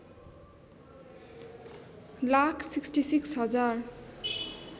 लाख ६६ हजार